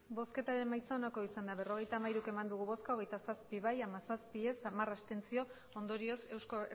emandako botoak berrogeita hamairu bai hogeita zazpi ez hamazazpi abstentzioak hamar ondorioz